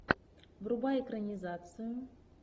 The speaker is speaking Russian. врубай экранизацию